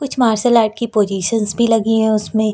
Martial art की positions भी लगी हैं उसमें।